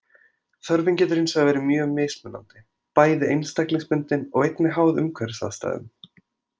Þörfin getur hins vegar verið mjög mismunandi, bæði einstaklingsbundin og einnig háð umhverfisaðstæðum.